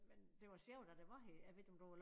Men det var sjovt da det var her jeg ved ikke om du